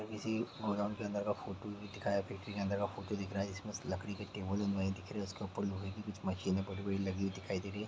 किसी गोदाम के अंदर का फोटो दिख रहा है बैकरी के अंदर का फोटो दिखा रहा है इसमें लकड़ी के टेबल बने दिख रही है उसके ऊपर लोहे के कुछ मशीनें पड़ी हुई लगी हुई दिखाई दे रही है।